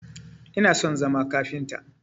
Ina son zama kafinta